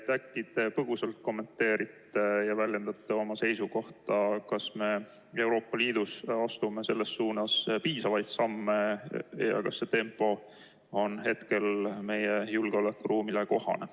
Äkki te põgusalt kommenteerite ja väljendate oma seisukohta, kas me Euroopa Liidus astume selles suunas piisavaid samme ja kas see tempo on praegu säärane, nagu meie julgeolekuruumis vaja on.